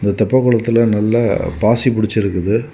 இந்த தெப்ப குளத்துல நல்ல பாசி புடிச்சிருக்குது.